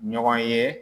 Ɲɔgɔn ye